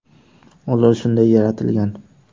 Ular shunday yaratilgan.